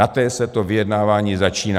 Na té se to vyjednávání začíná.